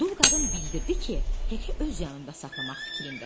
Dul qadın bildirdi ki, Heki öz yanında saxlamaq fikrindədir.